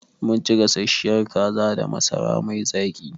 Mun ci gasasshiyar kaza da masara mai zaƙi.